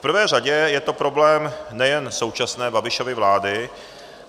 V prvé řadě je to problém nejen současné Babišovy vlády,